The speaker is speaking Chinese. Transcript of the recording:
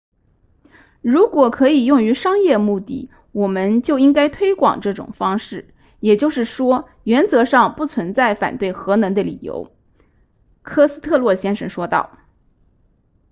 如果可以用于商业目的我们就应该推广这种方式也就是说原则上不存在反对核能的理由科斯特洛先生说道